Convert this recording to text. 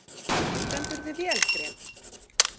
Þú stendur þig vel, Grét!